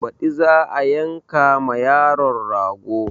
Baɗi za a yanka ma yaron rago